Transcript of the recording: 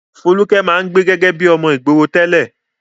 Folúkẹ́ máa ń gbé gẹ́gẹ́ bí ọmọ ìgboro tẹ́lẹ̀.